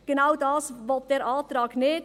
Genau dies will der Antrag nicht.